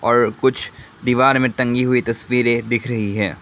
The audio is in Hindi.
और कुछ दीवार में टंगी हुई तस्वीरें दिख रही है।